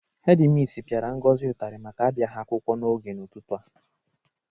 Hedi misi pịara Ngozi ụtarị maka abịaghị akwụkwọ n'oge n'ụtụtụ a.